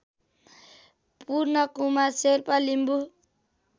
Purnakumar Sherpa Limbu